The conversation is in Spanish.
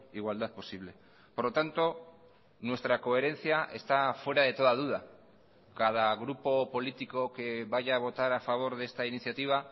igualdad posible por lo tanto nuestra coherencia está fuera de toda duda cada grupo político que vaya a votar a favor de esta iniciativa